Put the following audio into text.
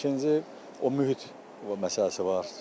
İkinci o mühit məsələsi var.